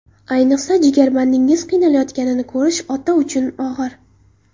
Ayniqsa, jigarbandingizning qiynalayotganini ko‘rish ota uchun og‘ir.